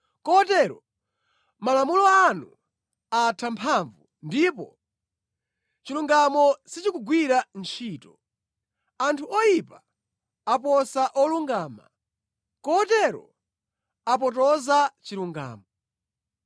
Kotero malamulo anu atha mphamvu, ndipo chilungamo sichikugwira ntchito. Anthu oyipa aposa olungama, kotero apotoza chilungamo.